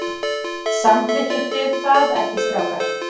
Samþykkið þið það ekki strákar?